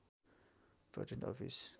patent office